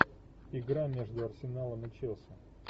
игра между арсеналом и челси